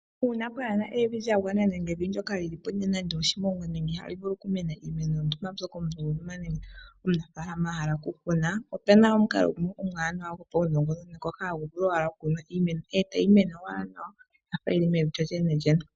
Uuna pwaa na evi lya gwana nenge evi ndyoka li li po li na nando oshimongwa nenge ihali vulu okumena iimeno yontumba mbyoka omunafaalama a hala okukuna, opu na omukalo gumwe omwaanawa gopaunongononi ngoka hagu vulu owala okukunwa iimeno e tayi owala nawa ya fa yi li mevi lyolyenelyene.